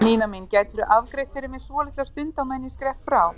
Nína mín, gætirðu afgreitt fyrir mig svolitla stund á meðan ég skrepp frá?